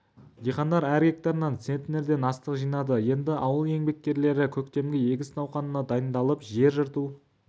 диқандар әр гектарынан центнерден астық жинады енді ауыл еңбеккерлері көктемгі егіс науқанына дайындалып жер жырту